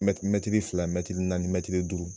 Mɛtiri fila mɛtiri naani mɛtiri duuru